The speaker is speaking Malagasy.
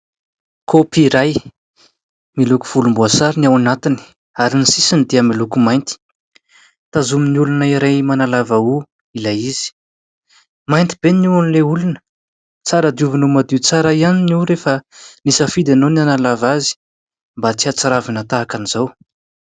Kaopy iray, miloko volomboasary ny ao anatiny ary ny sisiny dia miloko mainty. Tazomin'ny olona iray manalava hoho ilay izy. Mainty be ny hohon'ilay olona; tsara diovina ho madio tsara ihany ny hoho rehefa nisafidy ianao ny hanalava azy mba tsy ahatsiravina tahaka an'izao.